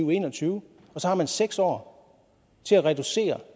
og en og tyve og så har man seks år til at reducere